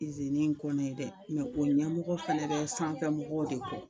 iziniin kɔni dɛ o ɲɛmɔgɔ fana bɛ sanfɛmɔgɔw de kɔ